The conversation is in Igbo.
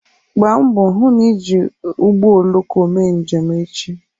Gbaa mbọ hụ na ị ga-eji ụgbọ oloko mee njem echi